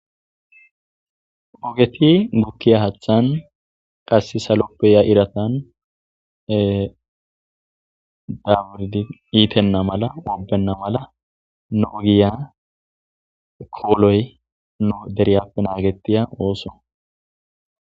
Ogeti gukkiya haaththan qassi saloppe yiya iratan ee daaburidi iitenna mala obenna mala nogiya kooloy nu deriyappe naagetiya ooso.